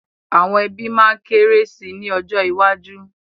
Àwọn ẹbí máa ma kéré sì ni ọjọ́ iwájú.